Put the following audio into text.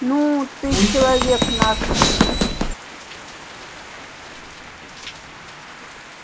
ну ты человек нашенский